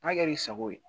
N'a kɛr'i sago ye